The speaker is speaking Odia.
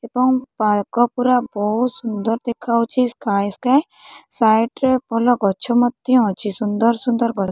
ଏବଂ ପାର୍କ ପୁରା ବହୁତ ସୁନ୍ଦର ଦେଖା ଯାଉଛି ସ୍କାଏ ସ୍କାଏ ସାଇଡ଼୍ ରେ ଭଲ ଗଛ ମଧ୍ୟ ଅଛି ସୁନ୍ଦର ସୁନ୍ଦର ଗଛ --